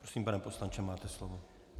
Prosím, pane poslanče, máte slovo.